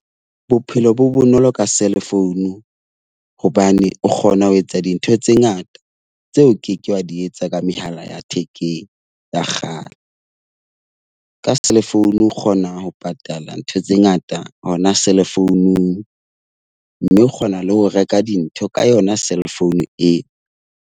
Bophelo bo bonolo ka cellphone hobane o kgona ho etsa dintho tse ngata tseo o ke ke wa di etsa ka mehala ya thekeng ya kgale. Ka cellphone o kgona ho patala ntho tse ngata hona cellphone-ung. Mme o kgona le ho reka dintho ka yona cellphone eo.